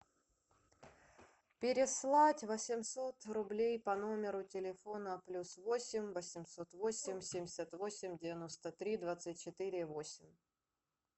переслать восемьсот рублей по номеру телефона плюс восемь восемьсот восемь семьдесят восемь девяносто три двадцать четыре восемь